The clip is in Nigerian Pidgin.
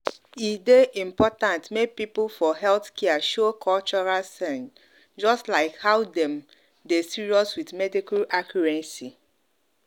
e dey important make people for healthcare show cultural sense just like how dem dey serious with medical accuracy.